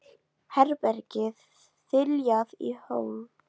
Herbergið þiljað í hólf og gólf, rúmfötin mjúk og hlý.